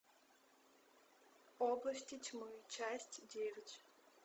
области тьмы часть девять